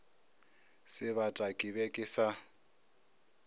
sebata ke be ke sa